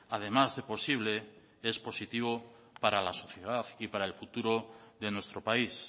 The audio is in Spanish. además de posible es positivo para la sociedad y para el futuro de nuestro país